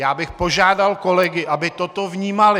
Já bych požádal kolegy, aby toto vnímali.